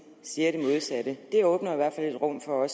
siger det modsatte det åbner i hvert fald et rum for